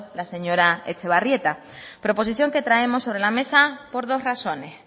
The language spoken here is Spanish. la señora etxebarrieta proposición que traemos sobre la mesa por dos razones